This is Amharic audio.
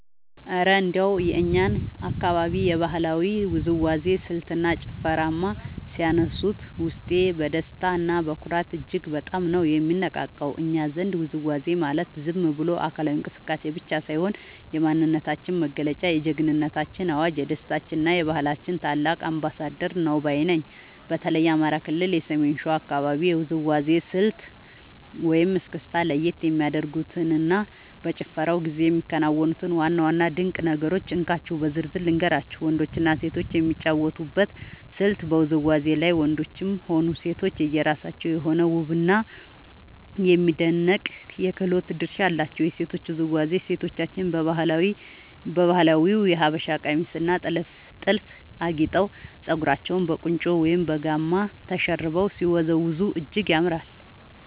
እረ እንደው የእኛን አካባቢ የባህላዊ ውዝዋዜ ስልትና ጭፈርማ ሲያነሱት፣ ውስጤ በደስታና በኩራት እጅግ በጣም ነው የሚነቃቃው! እኛ ዘንድ ውዝዋዜ ማለት ዝም ብሎ አካላዊ እንቅስቃሴ ብቻ ሳይሆን፣ የማንነታችን መገለጫ፣ የጀግንነታችን አዋጅ፣ የደስታችንና የባህላችን ታላቅ አምባሳደር ነው ባይ ነኝ። በተለይ የአማራ ክልል የሰሜን ሸዋ አካባቢን የውዝዋዜ ስልት (እስክስታ) ለየት የሚያደርጉትንና በጭፈራው ጊዜ የሚከናወኑትን ዋና ዋና ድንቅ ነገሮች እንካችሁ በዝርዝር ልንገራችሁ፦ . ወንዶችና ሴቶች የሚጫወቱበት ስልት በውዝዋዜው ላይ ወንዶችም ሆኑ ሴቶች የየራሳቸው የሆነ ውብና የሚደነቅ የክህሎት ድርሻ አላቸው። የሴቶቹ ውዝዋዜ፦ ሴቶቻችን በባህላዊው የሀበሻ ቀሚስና ጥልፍ አጊጠው፣ ፀጉራቸውን በቁንጮ ወይም በጋማ ተሸርበው ሲወዝወዙ እጅግ ያምራሉ።